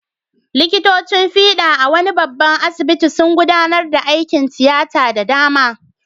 Likitocin fiɗa a wani babban asibiti sun gudanar da aikin tiyata da dama.